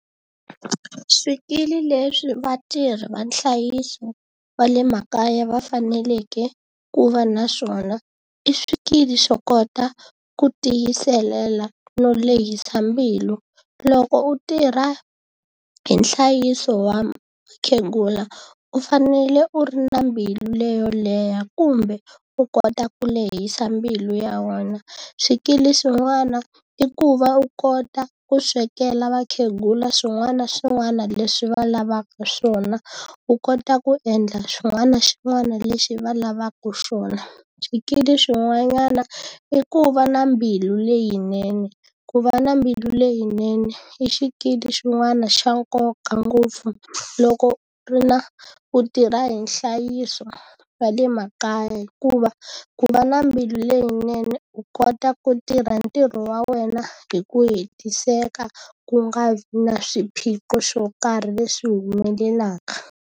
Swikili leswi vatirhi va nhlayiso wa le makaya va faneleke ku va na swona, i swikili swo kota ku tiyisela no lehisa mbilu. Loko u tirha hi nhlayiso wa mukhegula u fanele u ri na mbilu leyo leha kumbe, u kota ku lehisa mbilu ya wena. Swikili swin'wana i ku va u kota ku swekela vakhegula swin'wana na swin'wana leswi va lavaka swona, u kota ku endla xin'wana na xin'wana lexi va lavaka xona. Swikili swin'wanyana i ku va na mbilu leyinene, ku va na mbilu leyinene i xikili xin'wana xa nkoka ngopfu loko ri na ku tirha hi nhlayiso wa le makaya hikuva, ku va na mbilu leyinene u kota ku tirha ntirho wa wena hi ku hetiseka ku nga vi na swiphiqo swo karhi leswi humelelaka.